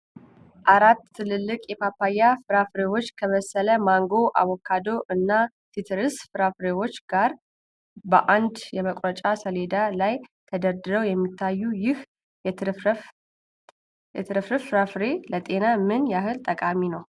አራት ትልልቅ የፓፓያ ፍሬዎች ከበሰለ ማንጎ፣ አቮካዶ እና ሲትረስ ፍራፍሬዎች ጋር በአንድ የመቁረጫ ሰሌዳ ላይ ተደርድረው የሚታዩት፣ ይህ የተትረፈረፈ ፍራፍሬ ለጤና ምን ያህል ጠቃሚ ነው?